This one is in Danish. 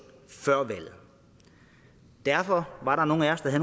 før valget derfor var der nogle af os der